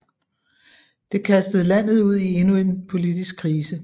Det kastede landet ud i endnu et politisk krise